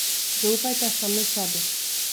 Zaupajte sami sebi!